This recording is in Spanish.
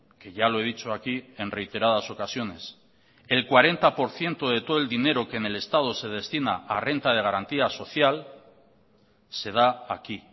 que ya lo he dicho aquí en reiteradas ocasiones el cuarenta por ciento de todo el dinero que en el estado se destina a renta de garantía social se da aquí